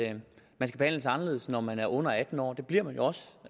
at man skal behandles anderledes når man er under atten år det bliver man jo også